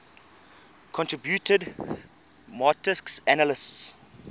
contributed marxist analyses